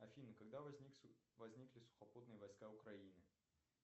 афина когда возникли сухопутные войска украины